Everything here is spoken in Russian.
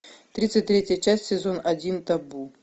тридцать третья часть сезон один табу